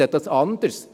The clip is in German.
Das sehe ich anders.